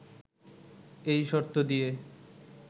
এই শর্ত দিয়ে